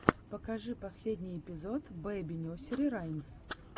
покажи последний эпизод бэби несери раймс